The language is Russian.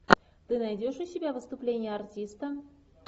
ты найдешь у себя выступление артиста